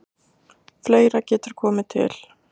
Fleira getur komið til.